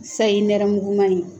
Sayi nɛrɛmuguma in